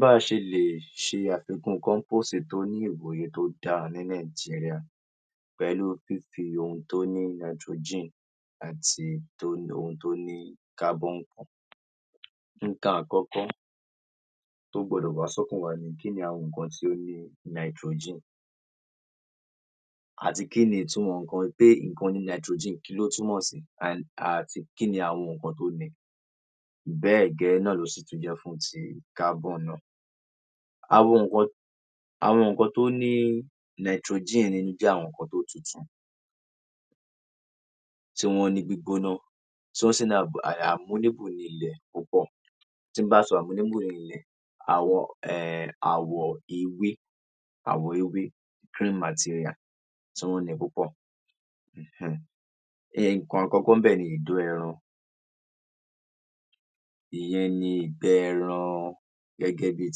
Bá a ṣe lè ṣe àfikún kọ́ḿpóòsì tó ní tó dáa ní Nàìjíríà pẹ̀lú fífi ohun tó ní nitrogen àti tó ní, ohun tó ní carbon. Nǹkan àkọ́kọ́ tó gbọdọ̀ wá sọ́kàn wa ni kí ni àwọn nǹkan tó ní nitrogen? Àti kí ni ìtumọ̀ nǹkan pé nǹkan ní nitrogen kí ló túmọ̀ sí? And, àti kí ni àwọn nǹkan tó ni? Bẹ́ẹ̀ gẹ́lẹ́ náà ló sì tún jẹ́ fún ti carbon náà. Àwọn nǹkan, àwọn nǹkan tó ní nitrogen nínú jẹ́ àwọn ǹǹkan tó tutù, tí wọ́n ní gbígbóná, tí wọ́n sì ní ní ilẹ̀ púpọ̀. Tí n bá sọ ní ilẹ̀, um àwọ̀ ewé, àwọ̀ ewé green material tí wọ́n ni púpọ̀. um Nǹkan àkọ́kọ́ ńbẹ̀ ni ìdó ẹran. Ìyẹn ni ìgbẹ́ ẹran gẹ́gẹ́ bíi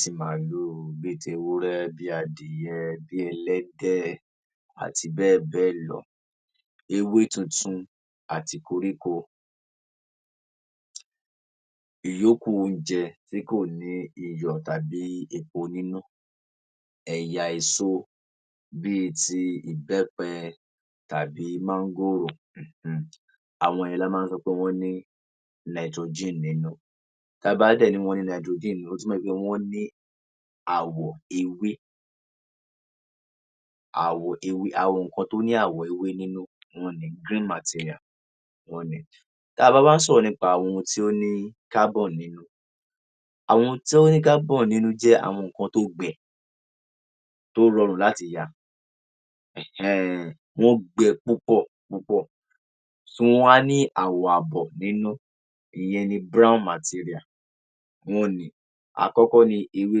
ti màlúù, bíi tewúrẹ́, bí adìyẹ, bí ẹlẹ́dẹ̀ àti bẹ́ẹ̀ bẹ́ẹ̀ lọ. Ewé tuntun àti koríko, ìyókù oúnjẹ tí kò ní iyọ̀ tàbí epo nínú, ẹ̀yà èso bíi ti ìbẹ́pẹ tàbí máńgòrò um. Àwọn yẹn la máa ń sọ pé wọ́n ní nitrogen nínú. Tá a bá dẹ̀ ní wọ́n ní nitrogen nínú, ó túmọ̀ í pé wọ́n ní àwọ̀ ewé, àwọ̀ ewé. Àwọn nǹkan tó ní àwọ̀ ewé nínú, wọ́n ni. Green material, wọ́n ni. Tá a bá wá ń sọ̀rọ̀ nípa àwọn ohun tí ó ní carbon nínú, àwọn ohun tí ó ní carbon nínú jẹ́ àwọn ǹǹkan tó gbẹ, tó rọrùn láti ya um. Wọ́n gbẹ púpọ̀ púpọ̀. So wọ́n wá ní àwọ̀ àbọ̀ nínú. Ìyẹn ni brown material, wọ́n ni. Àkọ́kọ́ ni ewé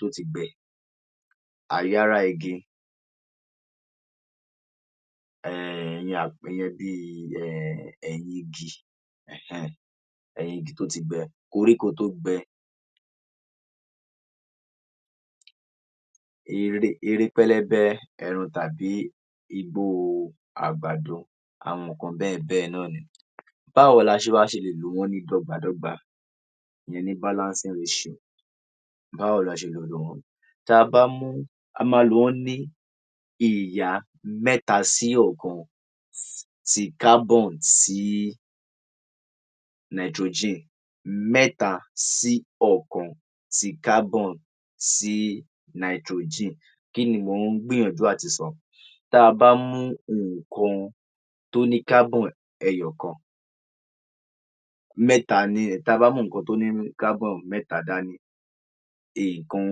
tó ti gbẹ, ààyárá igi um ìyẹn ìyẹn bíi um ẹ̀yìn igi um, ẹ̀yìn igi tó ti gbẹ́, koríko tó gbẹ, ere pẹlẹbẹ ẹran tàbí igbóo àgbàdo. Àwọn ǹǹkan bẹ́ẹ̀ bẹ́ẹ̀ náà ni. Báwo la ṣe wá ṣe lè lò wọ́n ní dọ́gba-dọ́gba, ìyẹn ní balancing ratio? Báwo la ṣe lè lò wọ́n? Tá a bá mú, a máa lo wọ́n ní ìyá mẹ́ta sí ọ̀kan. Ti carbon sí nitrogen, mẹ́ta sí ọ̀kan, ti carbon sí nitrogen. Kí ni mò ń gbìyànjú àtisọ? Tá a bá mú nǹkan tó ní carbon ẹyọ̀kan, mẹ́ta ni um tá a bá mú ǹǹkan tó ní um carbon mẹ́ta dání, nǹkan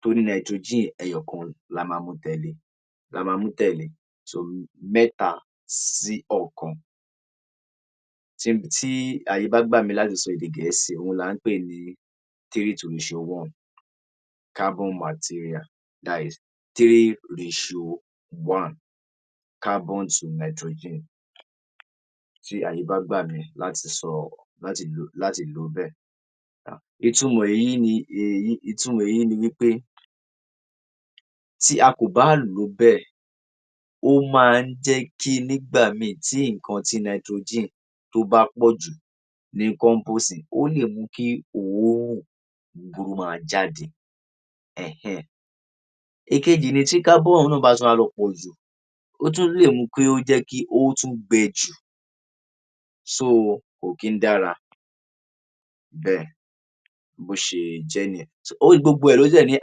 tó ní nitrogen ẹyọ̀kan la máa mu tẹ̀le, la máa mú tẹ̀le. So, mẹ́ta sí ọ̀kan tí ààyè bá gbà mí láti sọ èdè Gẹ̀ẹ́sì, òhun là ń pè ní three to ratio one carbon material. That is three three ratio one, carbon to nitrogen. Tí ààyè bá gbà mí láti sọ, láti lo, láti lò ó bẹ́ẹ̀. Ìtumọ̀ èyí ni, um ìtumọ̀ èyí ni wí pé tí a kò bá lò ó bẹ́ẹ̀, ó máa ń jẹ́ kí nígbà míì tí ǹǹkan tí nitrogen tó bá pọ̀ jù ní kọ́ḿpóòsì, ó lè mú kí òórùn búburú máa jáde um. Èkejì ni tí carbon náà bá tún wá lọ pọ̀ jù. Ó tún lè mú kí ó jẹ́ kí ó tún gbẹ jù. So, kò kì ń dára bẹ́ẹ̀. Bó ṣe jẹ́ nìyẹn. So, gbogbo ẹ̀ ló dẹ̀ ní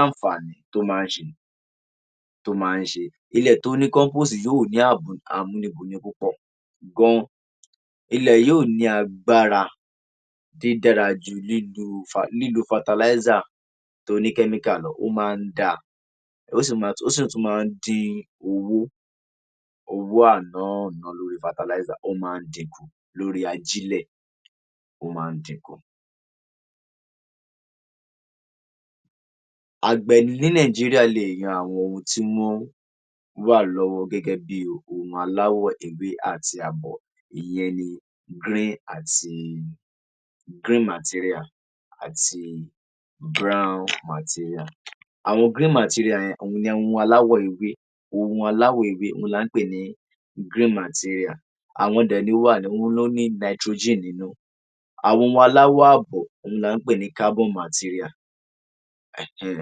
àǹfààní tó máa ń ṣe, tó máa ń ṣe. Ilẹ̀ tó ní kọ́ḿpóòsì yó ní àmúnibùni púpọ̀ gan-an. Ilẹ̀ yóò ní agbára dídára ju lílo fertilizer tó ní chemical lọ. Ó máa ń dáa, ó sì máa ń, ó sì tún máa ń dín owó, owó ànáàná lórí fertilizer, ó máa ń din kù, lórí ajílẹ̀, ó máa ń din kù. Àgbẹ̀ ní Nàìjíríà leè yan àwọn ohun tí wọ́n wà lọ́wọ́ gẹ́gẹ́ bí ohun aláwọ̀ ewé àti àbọ̀, ìyẹn ni green àti green material àti brown material. Àwọn green material yẹn, òun ni ohun aláwọ̀ ewé. Ohun aláwọ̀ ewé, òun là ń pè ní green material. Àwọn dẹ̀ nó wà, ló ní nitrogen nínú. Àwọn ohun aláwọ̀ àbọ̀ ohun là ń pè ní carbon material um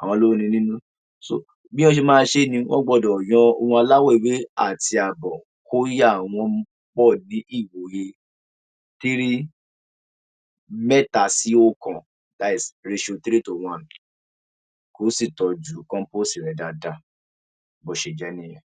àwọn ló ni nínú. So bí án ṣe ṣé ni, wọ́n gbọdọ̀ yọ ohun aláwọ̀ ewé àti àbọ̀ kó yà wọn pọ̀ ní ìwòyè three mẹ́ta sí óókan, that is ratio three to one kó sì tọ́jú kọ́ḿpóòsì rẹ̀ dáadáa. Bó ṣe jẹ́ nìyẹn.